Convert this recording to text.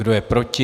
Kdo je proti?